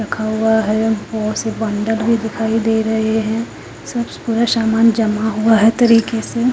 रखा हुआ है गोर से वो अंदर भी दिखाई दे रहे है सब पूरा सामान जमा हुआ है तरीके से--